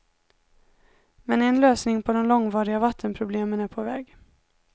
Men en lösning på de långvariga vattenproblemen är på väg.